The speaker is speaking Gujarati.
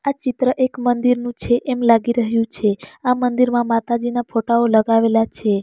આ ચિત્ર એક મંદિરનું છે એમ લાગી રહ્યું છે આ મંદિરમાં માતાજીના ફોટાઓ લગાવેલા છે.